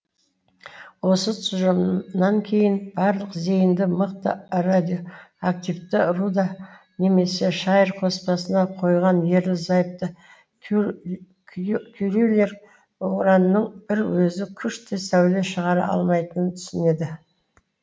осы тұжырымнан кейін барлық зейінді мықты радиоактивті руда немесе шайыр қоспасына қойған ерлі зайыпты кюрилер уранның бір өзі күшті сәуле шығара алмайтынын түсінеді